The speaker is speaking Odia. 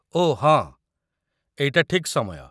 ଓଃ ହଁ, ଏଇଟା ଠିକ୍ ସମୟ